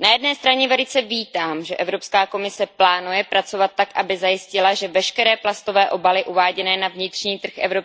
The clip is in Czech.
Na jedné straně velice vítám, že Evropská komise plánuje pracovat tak, aby zajistila, že veškeré plastové obaly uváděné na vnitřní trh EU